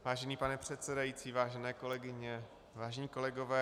Vážený pane předsedající, vážené kolegyně, vážení kolegové.